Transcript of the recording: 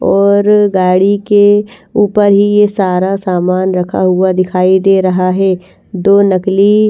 और गाड़ी के ऊपर ही ये सारा सामान रखा हुआ दिखाई दे रहा है दो नकली--